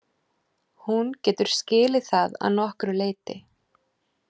Hún getur skilið það að nokkru leyti.